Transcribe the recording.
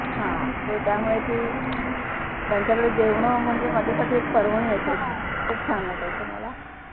हा त त्यामुळे ती त्यांच्याकडे जेवण म्हणजे माझ्यासाठी एक पर्वणी असायची खूप छान वाटायचं मला.